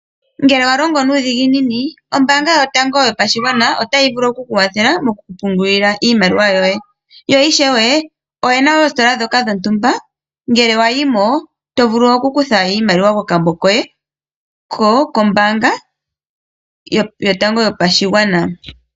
Ngele wa longo nuudhiginini ombaanga yotango yopashigwana otayi vulu oku ku kwathela moku ku pungulila iimaliwa yoye. Yo ishewe oyena oositola dhoka dhontumba ngele wa yimo, to vulu kukutha iimaliwa kokambo koye kombaanga yotango yopashigwana.